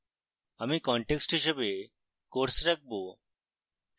আমি context হিসাবে course রাখবো